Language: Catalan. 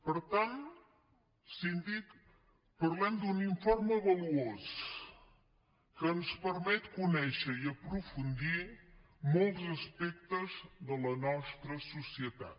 per tant síndic parlem d’un informe valuós que ens permet conèixer i aprofundir molts aspectes de la nostra societat